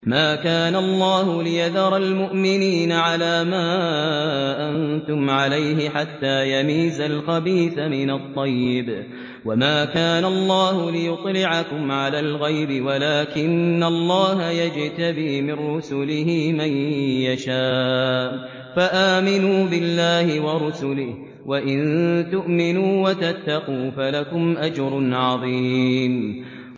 مَّا كَانَ اللَّهُ لِيَذَرَ الْمُؤْمِنِينَ عَلَىٰ مَا أَنتُمْ عَلَيْهِ حَتَّىٰ يَمِيزَ الْخَبِيثَ مِنَ الطَّيِّبِ ۗ وَمَا كَانَ اللَّهُ لِيُطْلِعَكُمْ عَلَى الْغَيْبِ وَلَٰكِنَّ اللَّهَ يَجْتَبِي مِن رُّسُلِهِ مَن يَشَاءُ ۖ فَآمِنُوا بِاللَّهِ وَرُسُلِهِ ۚ وَإِن تُؤْمِنُوا وَتَتَّقُوا فَلَكُمْ أَجْرٌ عَظِيمٌ